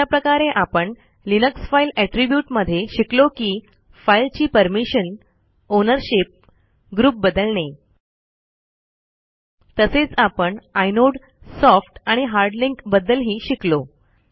अशा प्रकारे आपण लिनक्स फाइल एट्रिब्यूट मध्ये शिकलो की फाइल ची परमिशन आउनरशिप ग्रुप बदलणे तसेच आपण आयनोड सॉफ्ट आणि हार्ड लिंक बद्दलही शिकलो